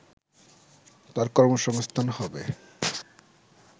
তার কর্মসংস্থান হবে